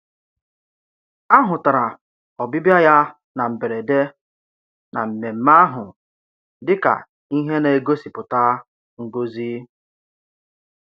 A hụtara ọbịbịa ya na mberede na mmemmé ahụ dị ka ihe na-egosipụta ngọzi